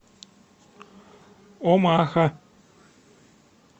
омаха